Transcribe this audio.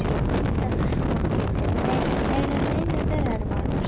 Mücirətdin isə bunu hiss edərək əylənməyin nə zərəri vardır?